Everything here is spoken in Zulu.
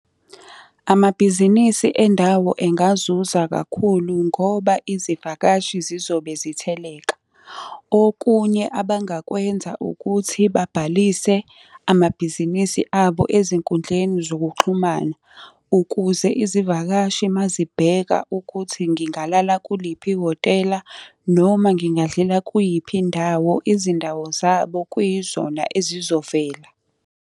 Amabhizinisi endawo engazuza kakhulu ngoba izivakashi zizobe zitheleka. Okunye abangakwenza ukuthi babhalise amabhizinisi abo ezinkudleni zokuxhumana, ukuze izivakashi uma zibheka ukuthi ngingalala kuliphi ihhotela, noma ngingadlela kuyiphi indawo, izindawo zabo kuyizona ezizovela.